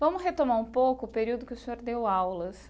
Vamos retomar um pouco o período que o senhor deu aulas.